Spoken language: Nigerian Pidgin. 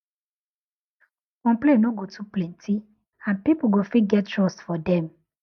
if respect dey hospital complain no go too plenty and pipu go fit get trust for dem